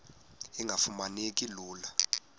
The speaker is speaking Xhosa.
engafuma neki lula